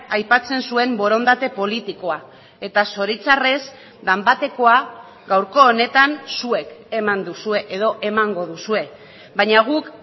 aipatzen zuen borondate politikoa eta zoritzarrez danbatekoa gaurko honetan zuek eman duzue edo emango duzue baina guk